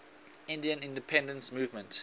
indian independence movement